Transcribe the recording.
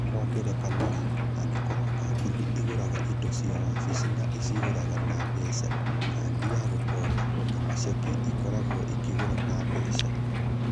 Kwa ngerekano-rĩ, angĩkorũo kambuni ĩgũraga indo cia wabici na ĩciũrĩraga na mbeca, kadi ya gũkomba, kana cheki, ĩkoragwo ĩgũraga na mbeca.